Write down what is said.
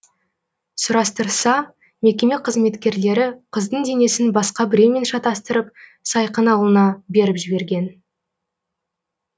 сұрастырса мекеме қызметкерлері қыздың денесін басқа біреумен шатастырып сайқын ауылына беріп жіберген